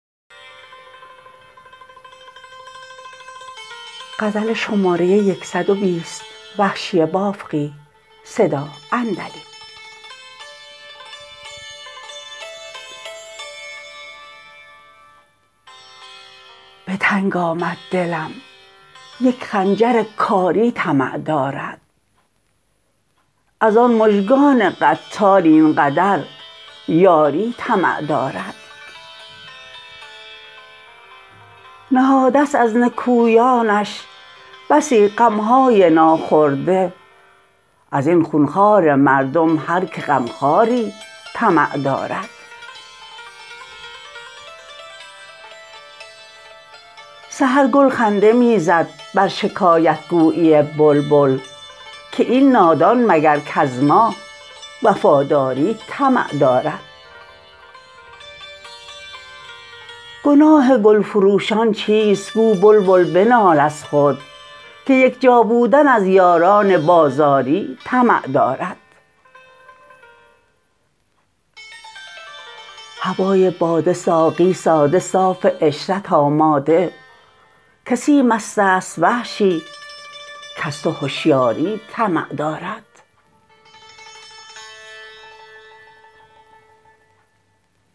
به تنگ آمد دلم یک خنجر کاری طمع دارد از آن مژگان قتال این قدر یاری طمع دارد نهاده ست از نکویانش بسی غم های ناخورده از این خون خوار مردم هرکه غم خواری طمع دارد سحر گل خنده می زد بر شکایت گویی بلبل که این نادان مگر کز ما وفاداری طمع دارد گناه گل فروشان چیست گو بلبل بنال از خود که یک جا بودن از یاران بازاری طمع دارد هوای باده ساقی ساده صاف عشرت آماده کسی مست است وحشی کز تو هشیاری طمع دارد